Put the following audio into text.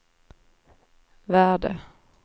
värde